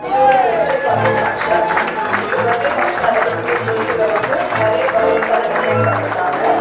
இது ஒரு birthday party function இங்க பர்த்டே பங்ஷன் நடக்க கூடிய ஸ்டேஜ்ல வந்து நெறைய பலூன்சால டெகரேட் பண்ணி இருகாங்க.